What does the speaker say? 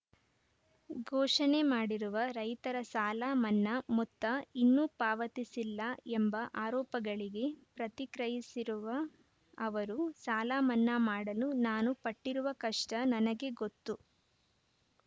ಘೋಷಣೆ ಮಾಡಿರುವ ರೈತರ ಸಾಲ ಮನ್ನಾ ಮೊತ್ತ ಇನ್ನೂ ಪಾವತಿಸಿಲ್ಲ ಎಂಬ ಆರೋಪಗಳಿಗೆ ಪ್ರತಿಕ್ರಯಿಸಿರುವ ಅವರು ಸಾಲಮನ್ನಾ ಮಾಡಲು ನಾನು ಪಟ್ಟಿರುವ ಕಷ್ಟನನಗೇ ಗೊತ್ತು